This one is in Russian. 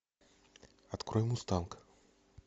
открой мустанг